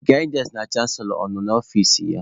Gaịdịansị na canselọ ọ nọ n'ọfici ya?